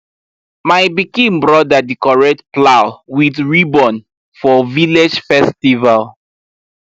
my pikin brother decorate plow with ribbon for village festival